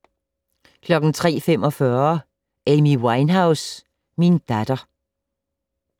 03:45: Amy Winehouse - min datter